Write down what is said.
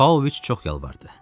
Pavloviç çox yalvardı.